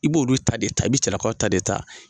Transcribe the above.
I b'oolu ta de ta i be cɛlakaw ta de ta.